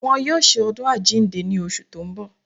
Wọ́n yóò ṣe ọdún àjíǹde ní oṣù tó ń bọ̀